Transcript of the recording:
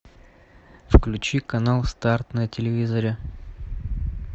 включи канал старт на телевизоре